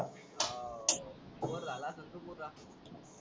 हो बोर झाला असेल तू पुरा.